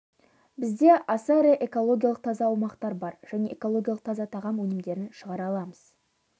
бізде аса ірі экологиялық таза аумақтар бар және экологиялық таза тағам өнімдерін шығара аламыз